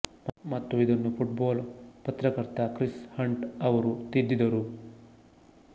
ಮತ್ತು ಇದನ್ನು football ಪತ್ರಕರ್ತ ಕ್ರಿಸ್ ಹಂಟ್ ಅವರು ತಿದ್ದಿದರು